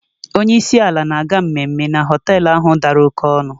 Onye isi ala na-aga mmemme na họtel ahụ dara oké ọnụ.